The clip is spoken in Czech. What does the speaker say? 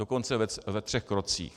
Dokonce ve třech krocích.